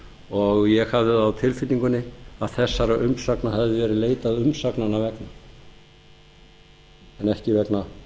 og ég hafði það á tilfinningunni að þessara umsagna hefði verið leitað umsagnanna vegna en ekki vegna